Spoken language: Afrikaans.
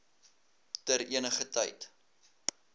ter eniger tyd